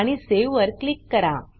आणि सावे वर क्लिक करा